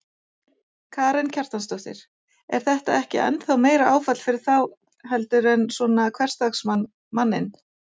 Karen Kjartansdóttir: Er þetta ekki ennþá meira áfall fyrir þá heldur en svona hversdagsmann, manninn?